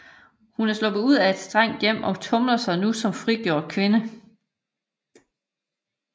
Hun er sluppet ud af et strengt hjem og tumler sig nu som frigjort kvinde